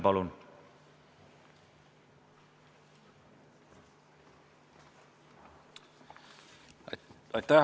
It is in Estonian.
Palun!